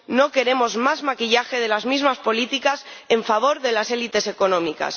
¡No queremos más maquillaje de las mismas políticas en favor de las élites económicas!